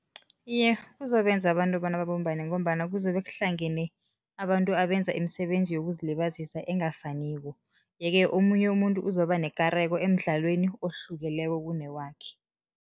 Iye, kuzobenza abantu bona babumbane ngombana kuzobe kuhlangene abantu abenza imisebenzi yokuzilibazisa engafaniko, yeke omunye umuntu uzoba nekareko emdlalweni ohlukileko kunewakhe.